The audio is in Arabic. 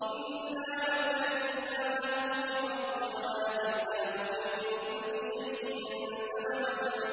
إِنَّا مَكَّنَّا لَهُ فِي الْأَرْضِ وَآتَيْنَاهُ مِن كُلِّ شَيْءٍ سَبَبًا